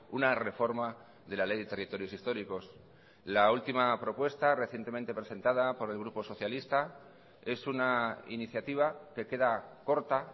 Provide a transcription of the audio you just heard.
una reforma de la ley de territorios históricos la última propuesta recientemente presentada por el grupo socialista es una iniciativa que queda corta